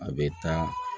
A bɛ taa